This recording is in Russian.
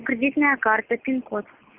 кредитная карта пин код